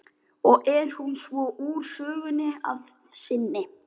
Og er hún svo úr sögunni að sinni.